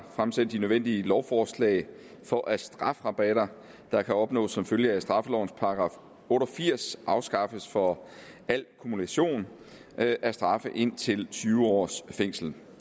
fremsætte de nødvendige lovforslag for at strafrabatter der kan opnås som følge af straffelovens § otte og firs afskaffes for al kumulation af straffe indtil tyve års fængsel